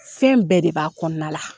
Fɛn bɛɛ de b'a kɔnɔna la.